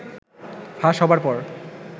ফাঁস হবার পর